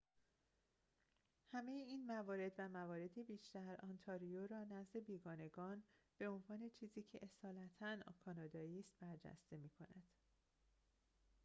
همه این موارد و موارد بیشتر انتاریو را نزد بیگانگان به عنوان چیزی که اصالتاً کانادایی است برجسته می‌کند